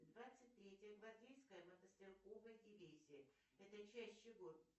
двадцать третья гвардейская мотострелковая дивизия это часть чего